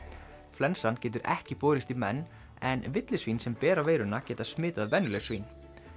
flensan getur ekki borist í menn en villisvín sem bera veiruna geta smitað venjuleg svín